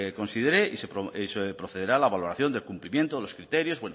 considere y se procederá a la valoración del cumplimiento los criterios